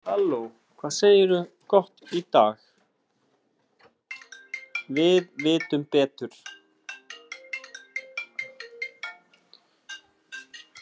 Við vitum betur.